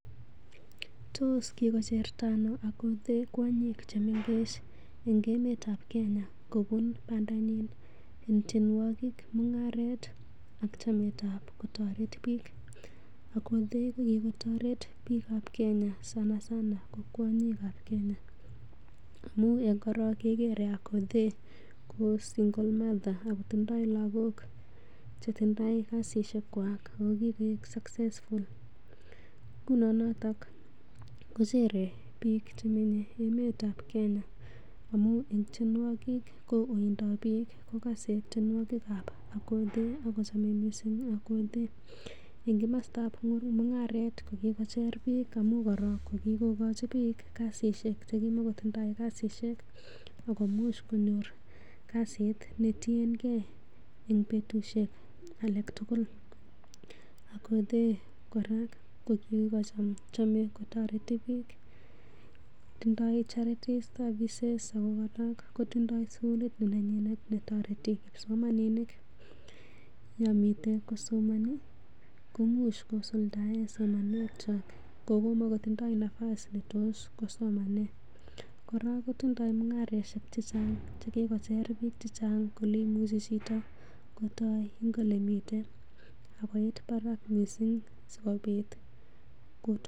Tos kikocherta anoo Akothee kwonyiik che mengech en emetab kenya kobuun bandanyin en tienwogik, nung'aret ak chametab kotoret biik? Akothee kokigotoret biiikab Kenya sanasana ko kwonyikab Kenya. Amun en korong kegere Akothee ko single mother ago tindo lagok che tindoi kasishekwak ago kigoik succesful Ngunon noto kochere biik che menye emetab Kenya amun en tienwogik ko oindap biik kogose tienwogik ab Akothee ago chame mising Akothee. En komostab mung'aret ko kigocher biik amun korong ko kikogochi biik kasishek che kimakotindoi kasishek ak komuch konyor kasit ne tienge en betushek alak tugul. Akothee kora ko chame kotoret biik, tindo charity services ago kora kotindoi sugulit nenyinet ne toreti kipsomaninik yon mite kosomani koimuch kosuldaen somanwek chwak ngo komakotindo nafas netos kosomanen. Kora kotindo mung'arosiek che chang che kigocher biik che chang kole imuche chito kotoi en ole miten ak koit barak mising.